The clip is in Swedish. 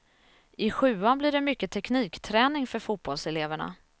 I sjuan blir det mycket teknikträning för fotbollseleverna.